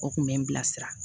O kun bɛ n bilasira